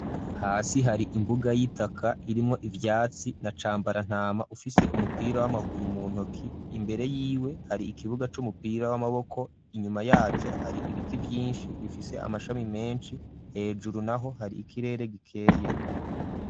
Hasi hari imbuga y'itaka irimwo ivyatsi na cambarantama ufise umupira w'amaguru mu ntoki imbere y'iwe hari ikibuga c'umupira w'amaboko inyuma yaco hari ibiti byinshi bifise amashami menshi hejuru naho hari ikirere gikeye.